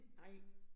Nej